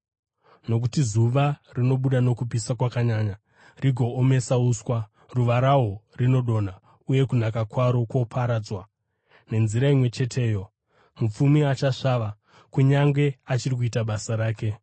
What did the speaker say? Nokuti zuva rinobuda nokupisa kwakanyanya rigoomesa uswa; ruva rahwo rinodonha uye kunaka kwaro kwoparadzwa. Nenzira imwe cheteyo, mupfumi achasvava kunyange achiri kuita basa rake.